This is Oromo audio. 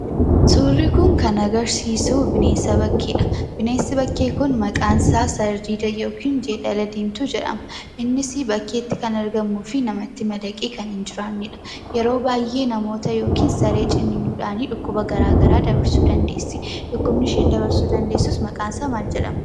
Suurii kun kan agarsiisuu bineensa bakkeedha. Bneensi bakkee kun maqaansaa sardiida yookan jeedala jedhama innisii bakkeetti kan argamuufi namatti madaqee kan hin jiraannedha. Yeroo baayyee namoota yookin saree ciniinuudhanii dhukkuba gara garaa dabarsuu dandeessi. Dhukkubni isheen dabarsuu dandeessu maqaan isaa maal jedhama?